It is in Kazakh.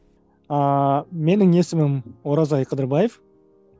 ааа менің есімім оразай қыдырбаев